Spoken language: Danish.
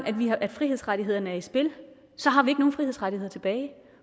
frihedsrettighederne er i spil har vi ikke nogen frihedsrettigheder tilbage